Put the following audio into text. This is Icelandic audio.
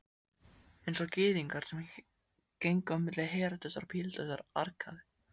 Einsog Gyðingar sem gengu á milli Heródesar og Pílatusar arkaði